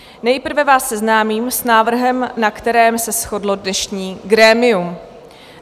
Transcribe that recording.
Nejprve vás seznámím s návrhem, na kterém se shodlo dnešní grémium.